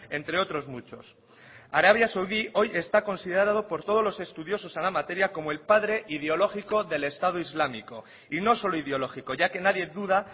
entre otros muchos arabia saudí hoy está considerado por todos los estudiosos en la materia como el padre ideológico del estado islámico y no solo ideológico ya que nadie duda